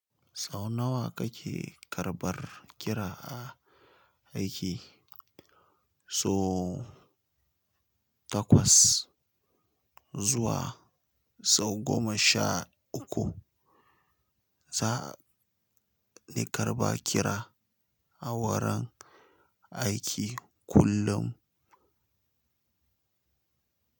Sau nawa kake karɓar kira a aiki? So takwas zuwa sau goma sha uku za ni karɓa kira a wurin aiki kullum.